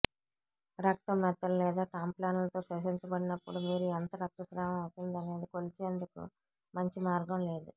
రక్తం మెత్తలు లేదా టాంపాన్లతో శోషించబడినప్పుడు మీరు ఎంత రక్తస్రావం అవుతుందనేది కొలిచేందుకు మంచి మార్గం లేదు